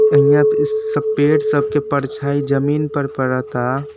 अहियां पे स पेड़ सब के परछाई जमीन पर पड़ता।